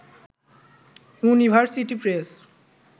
university press